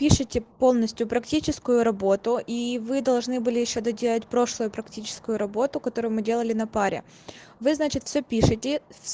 пишите полностью практическую работу и вы должны были ещё доделать прошлую практическую работу которую мы делали на паре вы значит все пишите